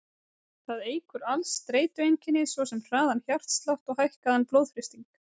Það eykur alls kyns streitueinkenni, svo sem hraðan hjartslátt og hækkaðan blóðþrýsting.